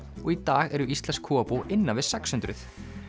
í dag eru íslensk kúabú innan við sex hundruð